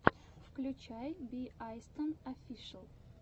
включай би айстон офишэл